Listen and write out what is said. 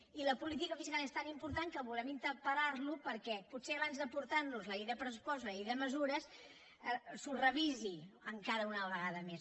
i la política fiscal és tan important que volem interpel·lar lo perquè potser abans portar nos la llei de pressupost i la llei de mesures s’ho revisi encara una vegada més